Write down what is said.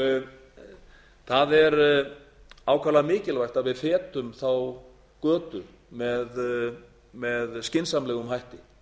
nýtingar það er ákaflega mikilvægt að við fetum þá götu með skynsamlegum hætti